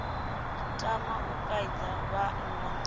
tama u kaidza vhanna na